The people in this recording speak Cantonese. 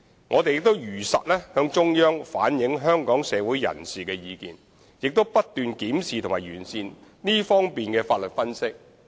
我們更會如實向中央反映香港社會各界的意見，並不斷檢視和完善這方面的法律分析。